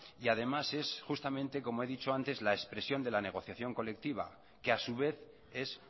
y además es justamente como he dicho antes la expresión de la negociación colectiva que a su vez es